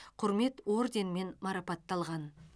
құрмет орденімен марапатталған